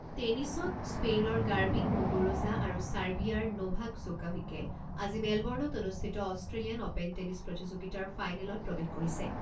টেনিছত, স্পেইনৰ Garbine Muguruza আৰু চাৰ্বিয়াৰ নোভাক জকোভিকে আজি মেলব’ৰ্ণত অনুষ্ঠিত অস্ট্ৰেলিয়ান অ'পেন টেনিছ প্ৰতিযোগিতাৰ ফাইনেলত প্ৰৱেশ কৰিছে।